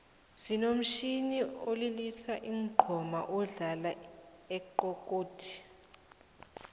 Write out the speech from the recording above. sinomtjhini wokulilisa iinqoma odlala ixekhodi